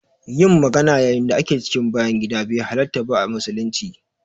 Yin magana yayin da ake cikin bayan gida be halarta ba a musulunci.